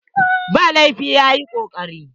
Ba laifi, ya yi kokari.